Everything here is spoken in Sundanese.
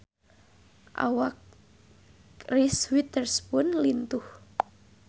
Awak Reese Witherspoon lintuh